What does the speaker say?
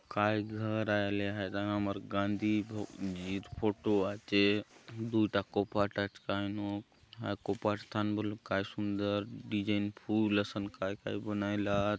काय घर आय आले हाय थाने आमर गाँधी भग जी र फोटो आचे दुय टा कोपाट आचे कायनुक हाय कोपाट थाने बले काय सुंदर डिजाइन फुल असन काय - काय बनायला आत।